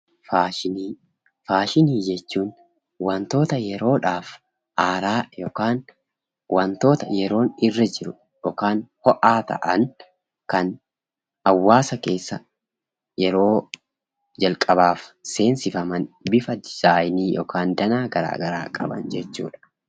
Faashinii jechuun wantoota yeroodhaaf haaraa ta'an yookiin wantoota yeroon irra jiruu fi ho'aa ta'an, kan hawaasa keessa yeroo jalqabaaf seensifaman; bifa boca yookiin danaa garaa garaa qaban jechuudha.